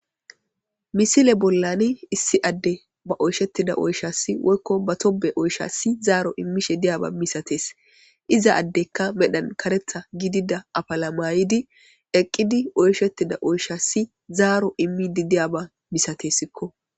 Misile bollani issi adde ba oyshettida oyshassi woykko ba tobe oyshassi zaaro immishe diyaba misatees. iza addekka medhan karetha gidida afala mayidi eqqidi oyshettida oyshassi zaaro immidi diyaba misatesikko